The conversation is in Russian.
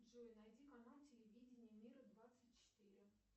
джой найди канал телевидение мира двадцать четыре